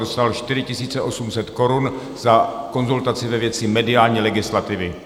Dostal 4 800 korun za konzultaci ve věci mediální legislativy.